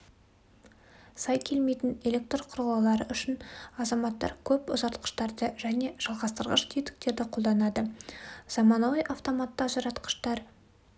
сай келмейтін электр құрылғылары үшін азаматтар көп ұзартқыштарды және жалғастырғыш тетіктерді қолданады заманауи автоматты ажыратқыштар